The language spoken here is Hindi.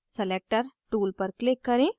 selector tool पर click करें